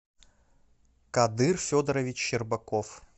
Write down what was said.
кадыр федорович щербаков